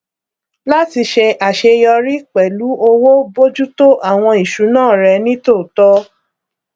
láti ṣe àṣeyọrí pẹlú owó bójútó àwọn ìṣúná rẹ nítòótọ